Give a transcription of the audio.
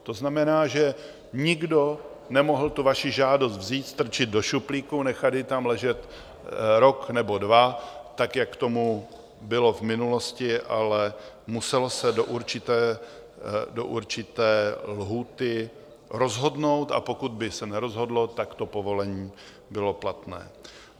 To znamená, že nikdo nemohl tu vaši žádost vzít, strčit do šuplíku, nechat ji tam ležet rok nebo dva tak, jak tomu bylo v minulosti, ale muselo se do určité lhůty rozhodnout, a pokud by se nerozhodlo, tak to povolení bylo platné.